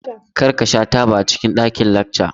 Kar ka sha taba a cikin ɗakin lacca!